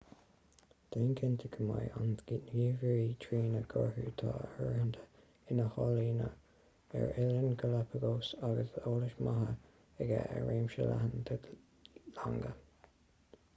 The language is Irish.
déan cinnte de go mbeidh an gníomhaire trína gcuirfidh tú áirithint ina shaineolaí ar oileáin galápagos agus eolas maith aige ar réimse leathan de longa